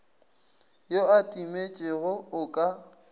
yo a timetšego o ka